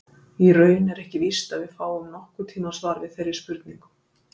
Í raun er ekki víst að við fáum nokkurn tíman svar við þeirri spurningu.